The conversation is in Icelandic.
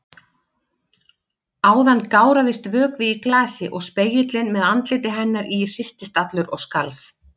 Áðan gáraðist vökvi í glasi og spegillinn með andliti hennar í hristist allur og skalf.